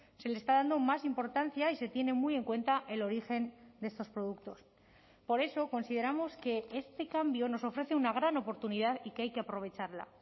se le está dando más importancia y se tiene muy en cuenta el origen de estos productos por eso consideramos que este cambio nos ofrece una gran oportunidad y que hay que aprovecharla